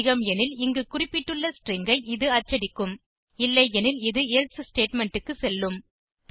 அதிகம் எனில் இங்கு குறிப்பிட்டுள்ள ஸ்ட்ரிங் ஐ இது அச்சடிக்கும் இல்லையெனில் இது எல்சே ஸ்டேட்மெண்ட் க்கு செல்லும்